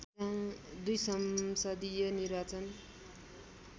२ संसदीय निर्वाचन